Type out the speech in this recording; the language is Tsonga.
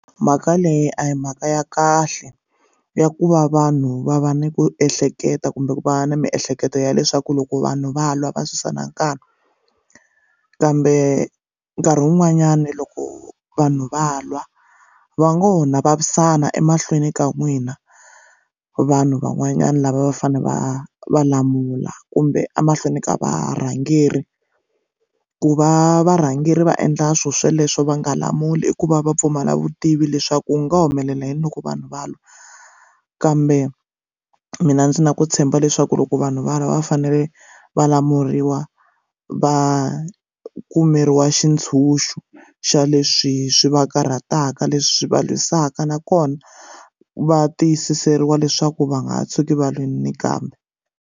Mhaka leyi a hi mhaka ya kahle ya ku va vanhu va va ni ku ehleketa kumbe ku va na miehleketo ya leswaku loko vanhu va lwa va susana nkani kambe nkarhi wun'wanyani loko vanhu va lwa va ngo na vavisana emahlweni ka n'wina vanhu van'wanyana lava va fanele va va lamula kumbe emahlweni ka varhangeri ku va varhangeri va endla swilo sweleswo va nga lamuli i ku va va pfumala vutivi leswaku u nga humelela yini loko vanhu va lwa kambe mina ndzi na ku tshemba leswaku loko vanhu valava va fanele va lamuriwa va kumeriwa xitshunxo xa leswi swi va karhataka leswi va lwisanaka nakona va tiyisisa byeriwa leswaku va nga tshuki va lwini nakambe.